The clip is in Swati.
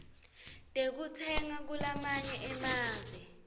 tekutsenga kulamanye emave